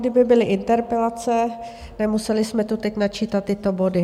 Kdyby byly interpelace, nemuseli jsme tu teď načítat tyto body.